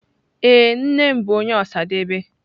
Ee, nne m bu onye Osadebe.